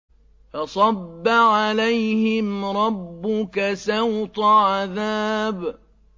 فَصَبَّ عَلَيْهِمْ رَبُّكَ سَوْطَ عَذَابٍ